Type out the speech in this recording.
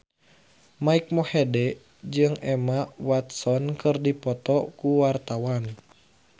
Mike Mohede jeung Emma Watson keur dipoto ku wartawan